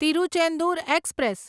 Tiruchendur express